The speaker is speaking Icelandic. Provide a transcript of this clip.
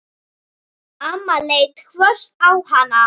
Amma leit hvöss á hann.